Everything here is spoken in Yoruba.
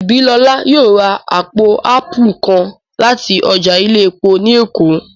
Ìbílọlá yóò ra àpò áàpù kan láti ọjà ilé epo ní Èkó